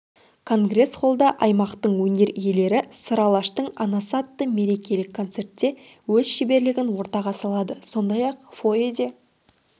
конгресс-холда аймақтың өнер иелері сыр алаштың анасы атты мерекелік концертте өз шеберлігін ортаға салады сондай-ақ фойеде